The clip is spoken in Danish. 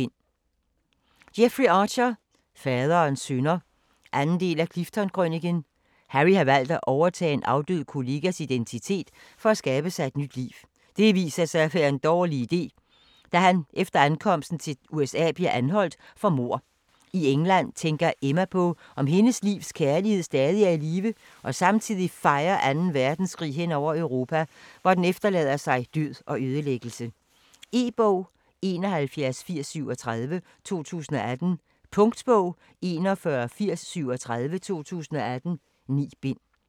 Archer, Jeffrey: Faderens synder 2. del af Clifton-krøniken. Harry har valgt at overtage en afdød kollegas identitet, for at skabe sig et nyt liv. Det viser sig at være en dårlig iden, da han efter ankomsten til USA bliver anholdt for mord. I England tænker Emma på om hendes livs kærlighed stadig er i live og samtidig fejer 2. verdenskrig hen over Europa, hvor den efterlader sig død og ødelæggelse. E-bog 718037 2018. Punktbog 418037 2018. 9 bind.